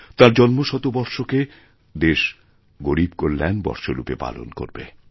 তাঁর জন্মশতবর্ষকে দেশ গরীব কল্যাণবর্ষ রূপে পালন করবে